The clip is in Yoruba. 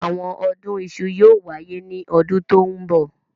Àwọn ọdún iṣu yóò wáyé ní ọdún tó ń bọ̀.